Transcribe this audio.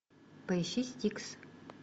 поищи стикс